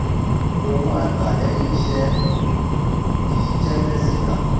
owó a gba lẹ́yìn iṣẹ́ kì í jẹ́ lẹ́sìkà.